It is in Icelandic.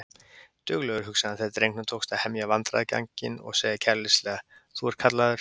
Duglegur, hugsaði hann þegar drengnum tókst að hemja vandræðaganginn og segja kæruleysislega: Þú ert kallaður